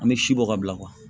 An bɛ si bɔ ka bila